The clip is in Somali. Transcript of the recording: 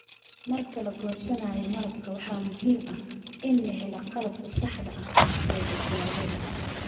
Marka la goosanayo malabka, waxaa muhiim ah in la helo qalabka saxda ah ee badbaadada.